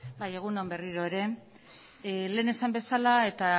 bai egun on berriro ere lehen esan bezala eta